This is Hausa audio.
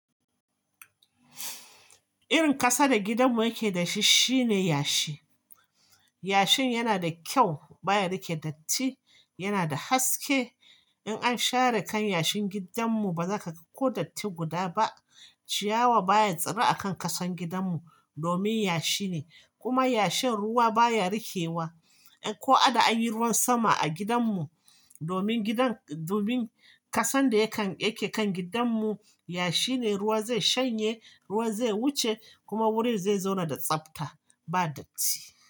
Irin ƙasa da gidanmu yake da shi shine yashi. Yashin yana da kyau, baya riƙe datti, yana da haske. In an share kan yashin gidanmu ba za ka ga ko datti guda ba. Ciyawa baya tsira a kan ƙasan gidanmu domin yashi ne. Kuma yashin ruwa baya rikewa. Ko a da an yi ruwan sama a gidanmu, domin gidan, domin ƙasan da ya kan yake kan gidanmu yashi ne, ruwa zai shanye, ruwa zai wuce kuma wurin zai zauna da tsabta ba datti.